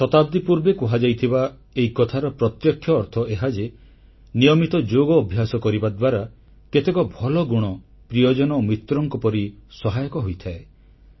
କେତେ ଶତାବ୍ଦୀ ପୂର୍ବେ କୁହାଯାଇଥିବା ଏହି କଥାର ପ୍ରତ୍ୟକ୍ଷ ଅର୍ଥ ଏହା ଯେ ନିୟମିତ ଯୋଗ ଅଭ୍ୟାସ କରିବା ଦ୍ୱାରା କେତେକ ଭଲ ଗୁଣ ପ୍ରିୟଜନ ଓ ମିତ୍ରଙ୍କ ପରି ସହାୟକ ହୋଇଥାଏ